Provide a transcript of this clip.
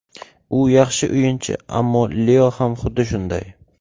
U yaxshi o‘yinchi, ammo Leo ham xuddi shunday.